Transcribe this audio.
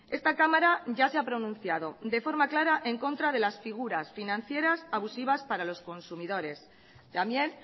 esta cámara ya se ha pronunciado de forma clara en contra de las figuras financieras abusivas para los consumidores también